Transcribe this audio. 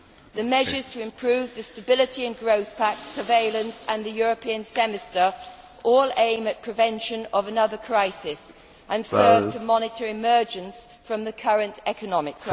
The measures to improve the Stability and Growth Pact, surveillance and the European semester all aim at prevention of another crisis and serve to monitor emergence from the current economic